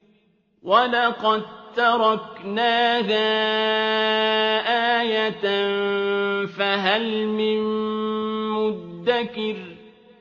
وَلَقَد تَّرَكْنَاهَا آيَةً فَهَلْ مِن مُّدَّكِرٍ